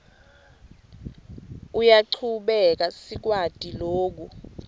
uyachubeka siyakwati loku